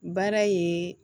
Baara ye